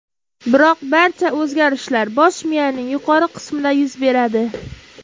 Biroq barcha o‘zgarishlar bosh miyaning yuqori qismida yuz beradi.